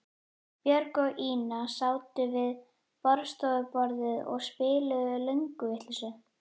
Björg og Ína sátu við borðstofuborðið og spiluðu lönguvitleysu.